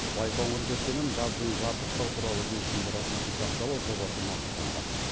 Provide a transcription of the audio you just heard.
байқоңыр кешенін газбен жабдықтау туралы келісімді ратификациялау жобасы мақұлданды